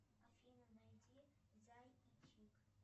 афина найди зай и чик